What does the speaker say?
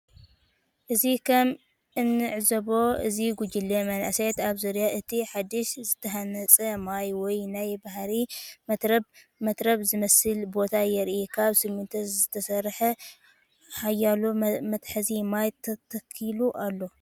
እዚ ከም እንዕዞቦ እዚ ጕጅለ መንእሰያት ኣብ ዙርያ እቲ ሓድሽ ዝተሃንጸ ማይ ወይ ናይ ሓባር መትረብ መትረብ ዝመስል ቦታ የርኢ። ካብ ስሚንቶ ዝተሰርሐ ሓያሎ መትሓዚ ማይ ተተኺሉ ኣሎ።